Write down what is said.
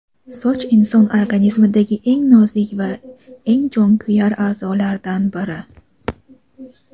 "Soch — inson organizmidagi eng nozik va eng "jonkuyar" a’zolardan biri.